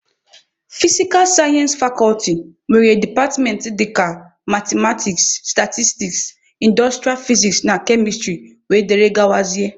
Fisikal sayensị fakọlti nwere departmentị dịka mathematiks, statistiks, indostrịa fiziks na kemịstrị wdg.